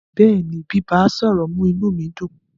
Bẹ́ẹ̀ni, bíbá, à sọ̀rọ̀ mú inú mi dùn.